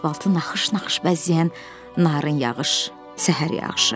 asfaltı naxış-naxış bəzəyən narın yağış, səhər yağışı.